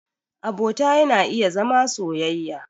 Abota yana iya zama soyayya.